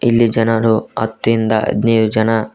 ಇಲ್ಲಿ ಜನರು ಹತ್ ಇಂದ ಹದ್ನೈದು ಜನ--